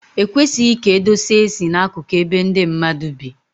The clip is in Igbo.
Ekwesịghị ka edosa esi na-akụkụ ebe ndị mmadụ bi.